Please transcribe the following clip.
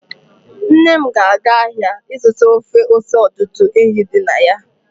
Nnem na aga ahịa ịzụta ofe ose ọdụdụ ehi dị na ya